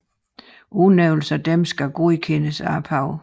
Udnævnelsen af disse skal godkendes af paven